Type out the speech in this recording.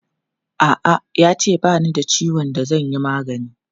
A'a, ya ce ba ni da ciwon da zan yi magani.